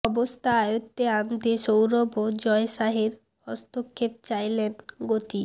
অবস্থা আয়ত্তে আনতে সৌরভ ও জয় শাহের হস্তক্ষেপ চাইলেন গোতি